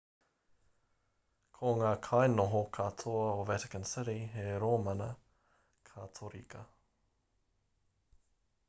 ko ngā kainoho katoa o vatican city he rōmana katorika